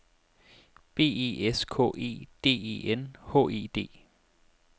B E S K E D E N H E D